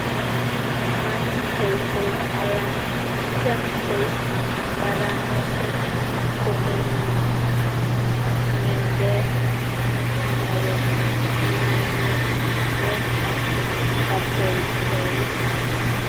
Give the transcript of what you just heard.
Matiteitei alan item soiti mbaranotet komeminji ng'endek simobet ng'ung'unyek bek ak katoltolik.